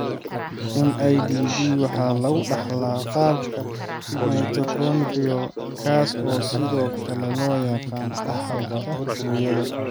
MIDD waxa lagu dhaxlaa qaabka mitochondrial, kaas oo sidoo kale loo yaqaan dhaxalka hooyada.